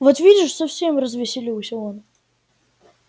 вот видишь совсем развеселился он